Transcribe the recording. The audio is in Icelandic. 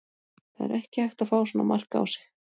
Það er ekki hægt að fá svona mark á sig.